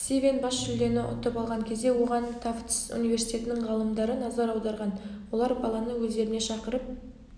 стивен бас жүлдені ұтып алған кезде оған тафтс университетінің ғалымдары назар аударған олар баланы өздеріне шақырып